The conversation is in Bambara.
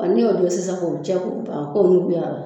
N'i y'o don sisan k'o cɛ ko ban k'o nuguyara